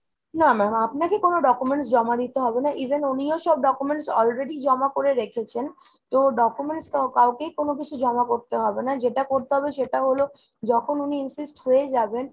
না ma'am আপনাকে কোনো documents জমা দিতে হবে না, even উনিও সব documents already জমা করে রেখেছেন। তো documents কাউকেই কোনো কিছু জমা করতে হবে না। যেটা করতে হবে সেটা হলো যখন উনি insist হয়ে যাবেন